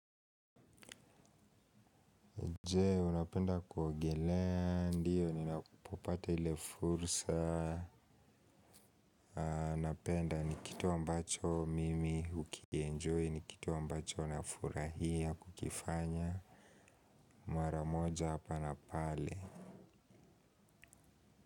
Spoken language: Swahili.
Je, unapenda kuogelea ndio, ninapopata ile fursa, aaah napenda ni kitu ambacho mimi ukienjoy, ni kitu ambacho nafurahia kukifanya, mara moja hapa na pale.